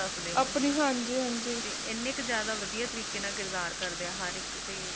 ਤੇ ਇੰਨੇ ਕ ਜਾਦਾ ਵਦੀਆ ਤਰੀਕੇ ਨਾਲ ਕਿਰਦਾਰ ਕਰਦੇ ਆ ਹਰ ਇਕ